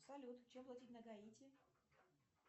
салют чем платить на гаити